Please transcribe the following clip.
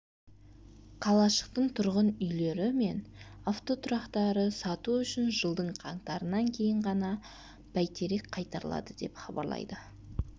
қалашықтың тұрғын үйлері мен автотұрақтары сату үшін жылдың қаңтарынан кейін ғана бәйтерек қайтарылады деп хабарлайды